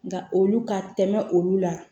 Nka olu ka tɛmɛ olu la